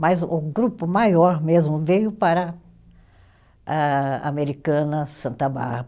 Mas o grupo maior mesmo veio para ah, Americana, Santa